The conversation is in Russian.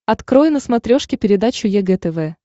открой на смотрешке передачу егэ тв